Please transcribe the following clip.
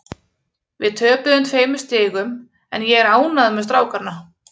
Við töpuðum tveimur stigum en ég er ánægður með strákana.